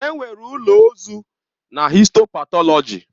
Enwere ụlọ ozu na histo patọlọji.